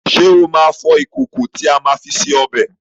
Ṣé o máa fọ ìkòkò tí a máa fi se ọbẹ̀